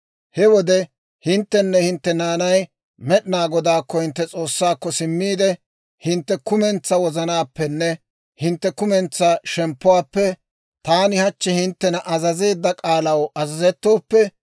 He wode hinttenne hintte naanay Med'inaa Godaakko, hintte S'oossaakko, simmiide, hintte kumentsaa wozanaappenne hintte kumentsaa shemppuwaappe taani hachchi hinttena azazeedda k'aalaw azazettooppe,